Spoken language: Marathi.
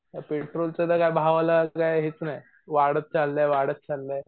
पेट्रोलच्या तर भावाला तर काय हेच नाय वाढत चाललाय वाढत चाललाय